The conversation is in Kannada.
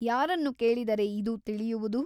ಯಾರನ್ನು ಕೇಳಿದರೆ ಇದು ತಿಳಿಯುವುದು ?